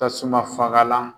Tasuma fangalan.